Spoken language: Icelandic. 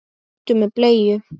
Hundur með bleiu!